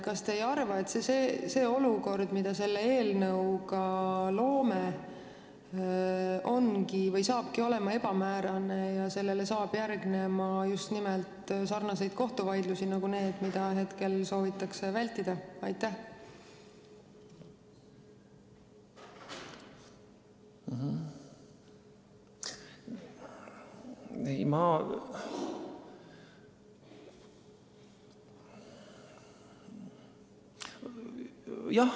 Kas te ei arva, et see olukord, mida me selle eelnõuga loome, hakkabki olema ebamäärane ja järgnevad just nimelt sarnased kohtuvaidlused nagu need, mida praegu soovitakse vältida?